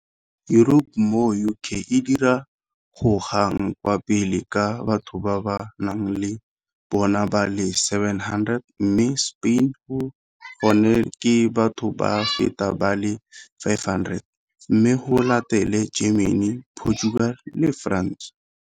Europe moo UK e di gogang kwa pele ka batho ba ba nang le bona ba le 700, mme Spain gone ke batho ba feta ba le 500, mme go latele Germany, Portugal le France.